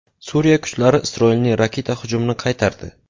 Suriya kuchlari Isroilning raketa hujumini qaytardi.